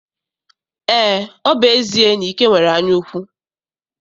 Eé, ọ bụ ezie na Ike nwere anyaukwu.